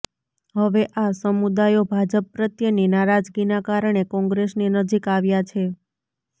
હવે આ સમુદાયો ભાજપ પ્રત્યેની નારાજગીના કારણે કોંગ્રેસની નજીક આવ્યા છે